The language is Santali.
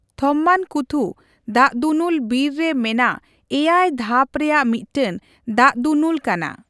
ᱛᱷᱚᱢᱢᱟᱱᱠᱩᱛᱷᱩ ᱫᱟᱜᱫᱩᱱᱩᱞ ᱵᱤᱨ ᱨᱮ ᱢᱮᱱᱟᱜ ᱮᱭᱟᱜ ᱫᱷᱟᱯ ᱨᱮᱭᱟᱜ ᱢᱤᱫᱴᱟᱝ ᱫᱟᱜᱫᱩᱱᱩᱞ ᱠᱟᱱᱟ ᱾